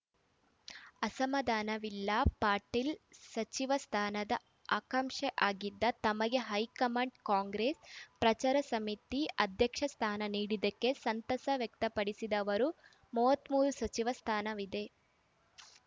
ಅಸಮಾಧಾನವಿಲ್ಲ ಪಾಟೀಲ್‌ ಸಚಿವ ಸ್ಥಾನದ ಆಕಾಂಸೆಯಾಗಿದ್ದ ತಮಗೆ ಹೈಕಮಾಂಡ್‌ ಕಾಂಗ್ರೆಸ್‌ ಪ್ರಚಾರ ಸಮಿತಿ ಅಧ್ಯಕ್ಷ ಸ್ಥಾನ ನೀಡಿದ್ದಕ್ಕೆ ಸಂತಸ ವ್ಯಕ್ತಪಡಿಸಿದ ಅವರು ಮೂವತ್ತ್ ಮೂರು ಸಚಿವ ಸ್ಥಾನವಿದೆ